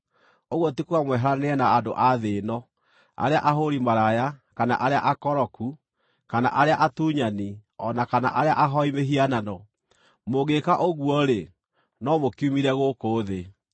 ũguo ti kuuga mweheranĩre na andũ a thĩ ĩno, arĩa ahũũri maraya, kana arĩa akoroku, kana arĩa atunyani, o na kana arĩa ahooi mĩhianano. Mũngĩĩka ũguo-rĩ, no mũkiumire gũkũ thĩ.